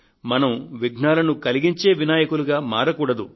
మనం విఘ్నాలను కలిగించే వినాయకులుగా మారకూడదు